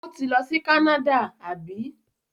Ó ti lọ sí Canada, àbí?